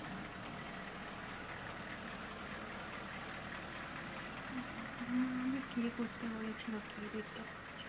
তখন আবার বলবে কে করতে বলেছিল কে দেখতে বলেছিল